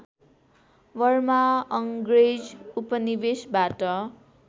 Burma अङ्ग्रेज उपनिवेशबाट